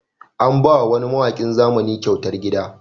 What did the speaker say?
An ba wa wani mawaƙin zamani kyautar gida